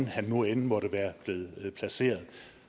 han nu end måtte være blevet placeret